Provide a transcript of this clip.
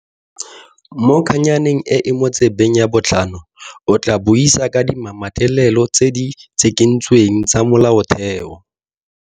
Mo kgannyaneng e e mo tsebeng ya botlhano, o tlaa buisa ka dimametlelelo tse di tshikintsweng tsa molaotheo.